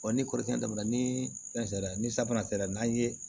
ni kɔrɔtɛn na ni fɛn sera ni safunɛ sera n'an ye